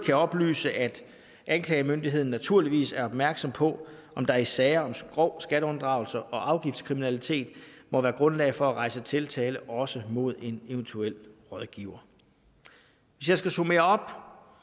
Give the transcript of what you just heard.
jeg oplyse at anklagemyndigheden naturligvis er opmærksom på om der i sager om grov skatteunddragelse og afgiftskriminalitet må være grundlag for at rejse tiltale også mod en eventuel rådgiver hvis jeg skal summere